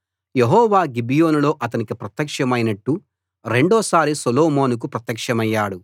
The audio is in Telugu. యెహోవా గిబియోనులో అతనికి ప్రత్యక్షమైనట్టు రెండోసారి సొలొమోనుకు ప్రత్యక్షమయ్యాడు